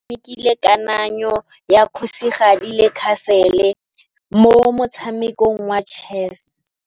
Oratile o tshamekile kananyô ya kgosigadi le khasêlê mo motshamekong wa chess.